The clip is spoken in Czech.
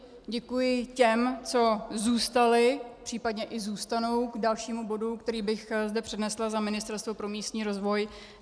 Děkuji těm, co zůstali, případně i zůstanou k dalšímu bodu, který bych zde přednesla za Ministerstvo pro místní rozvoj.